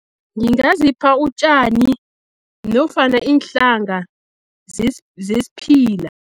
Ngingazipha utjani nofana iinhlanga zesiphila.